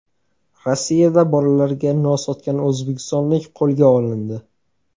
Rossiyada bolalarga nos sotgan o‘zbekistonlik qo‘lga olindi.